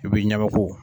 I b'i ɲɛmako